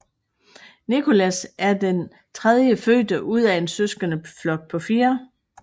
Nicholas er den den tredje fødte ud af en søskendeflok på fire